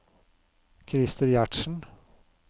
Christer Gjertsen